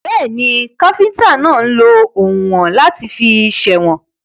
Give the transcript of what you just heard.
Bẹ́ẹ̀ni, káfíntà náà lọ oùnwọ̀n láti fi sèwọ̀n.